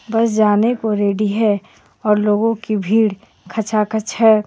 बस जाने को रेडी हे और लोगो की भीड़ खचा खच हे.